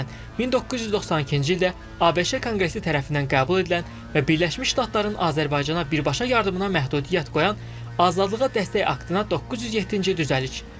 Məsələn, 1992-ci ildə ABŞ Konqresi tərəfindən qəbul edilən və Birləşmiş Ştatların Azərbaycana birbaşa yardımına məhdudiyyət qoyan Azadlığa Dəstək Aktına 907-ci düzəliş.